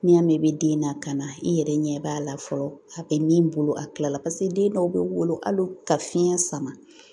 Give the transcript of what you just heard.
N'i y'a mɛn i bɛ den lakana i yɛrɛ ɲɛ b'a la fɔlɔ a bɛ min bolo a tilala den dɔw bɛ wolo a ka fiɲɛ sama